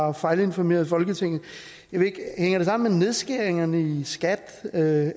har fejlinformeret folketinget hænger det sammen med nedskæringerne i skat er det